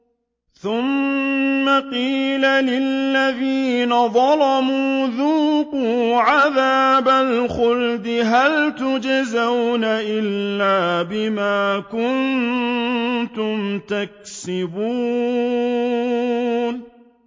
ثُمَّ قِيلَ لِلَّذِينَ ظَلَمُوا ذُوقُوا عَذَابَ الْخُلْدِ هَلْ تُجْزَوْنَ إِلَّا بِمَا كُنتُمْ تَكْسِبُونَ